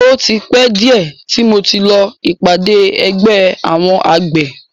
O ti pẹ́ díẹ̀ tí mo ti lọ ìpàdé ẹgbẹ́ àwọn àgbẹ̀.